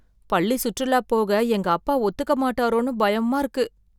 பள்ளி சுற்றுலா போக எங்க அப்பா ஒத்துக்க மாட்டாரோன்னு பயமா இருக்கு